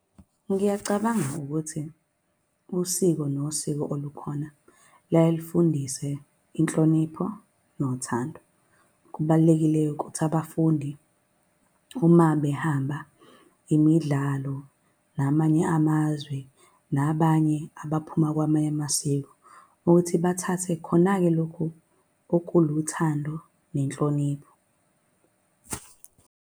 Ngiyacabanga ukuthi usiko nosiko olukhona luyaye lufundise inhlonipho nothando. Kubalulekile-ke ukuthi abafundi uma behamba imidlalo namanye amazwe, nabanye abaphuma kwamanye amasiko ukuthi bathathe khona-ke lokhu okuluthando nenhlonipho.